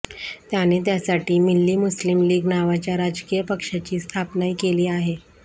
त्याने त्यासाठी मिल्ली मुस्लीम लीग नावाच्या राजकीय पक्षाची स्थापनाही केली आहे